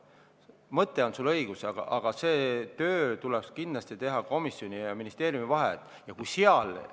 Mõte on sul õige, aga see töö tuleks kindlasti teha komisjonil ja ministeeriumil.